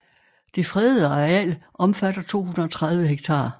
Det fredede areal omfatter 230 hektar